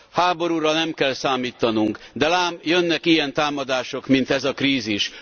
Háborúra nem kell számítanunk, de lám, jönnek ilyen támadások, mint ez a krízis.